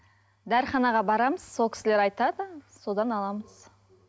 дәріханаға барамыз сол кісілер айтады содан аламыз